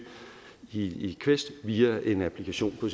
i quest via en applikation på